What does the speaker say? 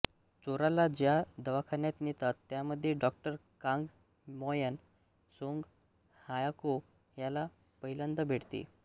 चोराला ज्या दवाखान्यात नेतात त्यामध्ये डॉ कांग मोयॉन सोंग हायक्यो त्याला पहिल्यांदा भेटते